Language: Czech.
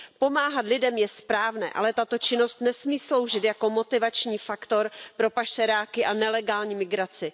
Pomáhat lidem je správné, ale tato činnost nesmí sloužit jako motivační faktor pro pašeráky a nelegální migraci.